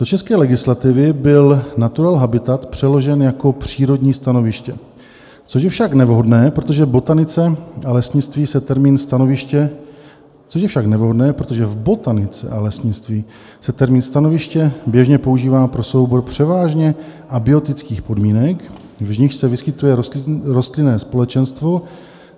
Do české legislativy byl natural habitat přeložen jako přírodní stanoviště, což je však nevhodné, protože v botanice a lesnictví se termín stanoviště běžně používá pro soubor převážně abiotických podmínek, v nichž se vyskytuje rostlinné společenstvo.